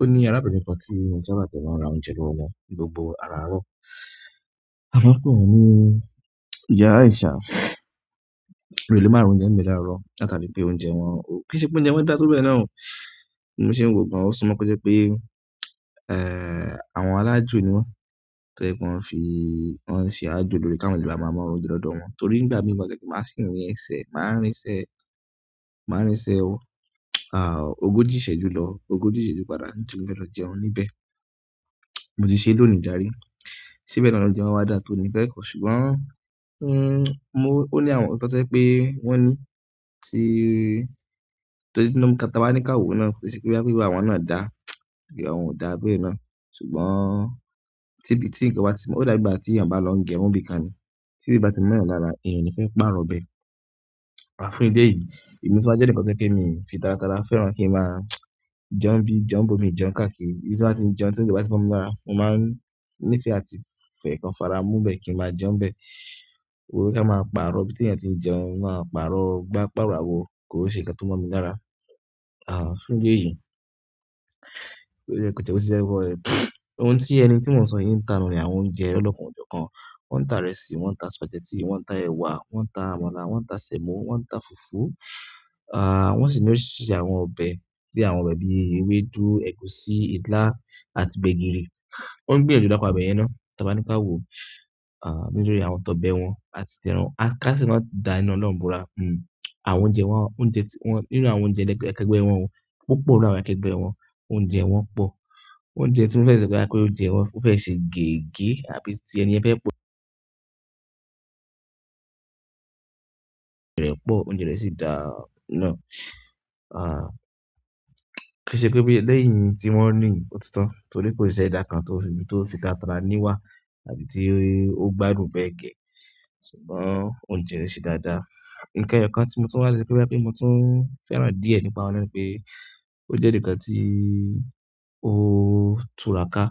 O ní arábìnrin kan tí ó n sábà tiẹ́ máa ń ra oúnjẹ lọ́wọ́ wọn ní gbogbo aràárọ̀. A máa ń pè wọ́n ní ìyá Àìsá. Mo dẹ́ lé má ra oùnjẹ́ ń gbé láàárọ̀, làtàrí pé oúnjẹ wọn-- kì í ṣe pé oúnjẹ wọn dára tó bẹ náà o, mo sì ń wò gan-an. Ó sunmọ̀ pé kó jẹ́ pé, àwọn alájù ni wọ́n, tó jẹ́ kí wọ́n fi-- wọ́n ń ṣe ajò lórí ká má ṣe gba bàbá ọmọ wọn dọdọ wọn. Nítorí nígbà mìíràn lẹ́kọ̀ọ́ má sì ń rí ẹsẹ̀, máa ń rí ẹsẹ̀, máa ń rí ẹsẹ̀ ọ, ogójì ìṣẹ́jú lọ, ogójì ìṣẹ́jú padà nítorí pe mo fẹ́ lọ̀ jẹun níbẹ̀. Mo ti ṣeé lónìí dárí, síbẹ̀ ni wọ́n jẹun wá dá tó ní ìfẹ́ kọ̀, ṣùgbọ́n, mo-- ó ní àwọn ìpátọ́kẹ́ pé wọ́n ní tí-- torí tí inú mi ata wa ní káwo náà kì í ṣe pé wípé àwọn náà dá àbí òun ò dá abẹ́ náà. Ṣùgbọ́n, tí bí-- tí ìgbà tí mo-- ó dàbí ìgbà tí èèyàn bá lọ ń gẹrun ńbìkan ni. Tíbẹ̀ bá tí mọ́'yàn lára, èèyàn ò ní fẹ́ pààrọ̀ ibẹ̀. Àfúnní de yìí, èmi sì máa jẹ́ ní ìpátọ́kẹ́ pé mi ò fi tátara fẹ́ràn kí n máa jẹun bí, jẹun bómi, jẹun káàkiri. Bí mo bá ti ń jẹun tí ó bá ti fún mi dára, mo máa ń ní ìfẹ́ àti ìfẹ́ kan fara mú bẹ́ẹ̀ kí n máa jẹun bẹ́ẹ̀. Ó wọlé ká máa pa'rọ̀ bí tí ènìyàn tí ń jẹun máa pa'rọ̀, gbá pàrọ̀ awo kí ó ṣe é ṣe kí ó tó mọ́ mi lára. Àn, fún de yìí, kò jẹ́ kó ṣe ẹgbọ́n rẹ̀. Ohun tí ẹni tí mò ń sọ yìí ń ta nìyẹn àwọn oúnjẹ lọ́ọ́kanòjọ̀kan. Wọ́n ń ta ìrẹsì, wọ́n ń ta spaghetti, wọ́n ń ta ẹ̀wà, wọ́n ń ta àmàlà, wọ́n ń ta sẹ̀mọ́, wọ́n ń ta fùfú. Wọ́n sì ní oríṣìíríṣìí àwọn ọbẹ̀ bí i àwọn ọbẹ̀ bí i ewédú, ẹ̀gúsí, ìlá àti gbégìrì. Wọ́n ń gbìyànjú lápá ibẹ̀ yẹn ná. Tí a bá ní ká wòó, a, nínú orí àwọn tọbẹ wọ́n àti tìrẹ wọ́n. A ká sì máa dà nínú ọ̀nà Òmùbọra. Hmm, àwọn oúnjẹ wọn, oúnjẹ tí wọ́n-- nínú àwọn oúnjẹ akẹ́gbẹ́ wọn wọ́n, púpọ̀ nínú àwọn akẹ́gbẹ́ wọn, oúnjẹ wọn pọ̀. Oúnjẹ tí mo fẹ́ sọ pé a pé oúnjẹ wọn ó fẹ́ ṣe gègé àbí tí ẹni ẹ fẹ́ pọ-- rẹ̀ pọ̀, oúnjẹ rẹ̀ sì dáa náà. Kì í ṣe pé bí lẹ́yìn tí wọ́n ní òtítọ́, torí kò ṣe é dá nǹkan tó fi tátara níwà àbí tí ó gbá irun bẹ́ẹ̀ gẹ. Ṣùgbọ́n oúnjẹ rẹ̀ ṣe dáadáa. Nǹkan ẹyọkan tí mo tún máa ní sọ wípé pé mo tún fẹ́ràn díẹ̀ nípa ọ̀nà náà ni pé ó jẹ́ nǹkan tí ó tura ká.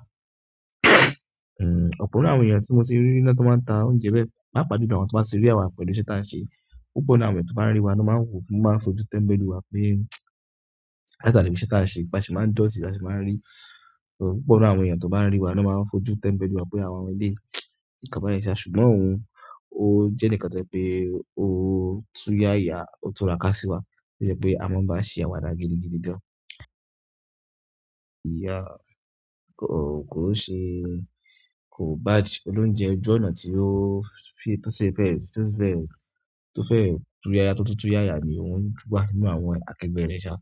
Ehn, ọ̀pọ̀ nínú àwọn ènìyàn tí mo ti rí níná tó máa ń ta oúnjẹ bẹ́ẹ̀, bá pàjú tó àwọn tó bá ṣe rí wa pẹ̀lú iṣẹ́ tí wọ́n ṣe, púpọ̀ nínú àwọn ènìyàn tó bá ń rí wa ni wọ́n máa ń fojú tẹ́mbẹ́lú wa pé káàkiri iṣẹ́ tí wọ́n ṣe. Ba ṣe máa ń dọ̀tí, bá ṣe máa ń rí. Púpọ̀ nínú àwọn ènìyàn tó bá ń rí wa ni wọ́n máa ń fojú tẹ́mbẹ́lú wa pé àwọn ọmọdé kìí kan báyìí ṣá. Ṣùgbọ́n òun ó jẹ́ nǹkan tí pé ó túya ya, ó tura ká sí wa. Torí pé a máa ń bá ṣe àwàdà gidigidi gan-an. Ìyá, kò kò ń ṣe, ko bad olóúnjẹ ojú ọ̀nà tí ó.